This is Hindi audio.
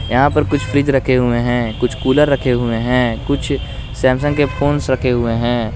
यहां पर कुछ फ्रिज रखे हुए हैं कुछ कूलर रखे हुए है कुछ सैमसंग के फोन्स रखे हुए है।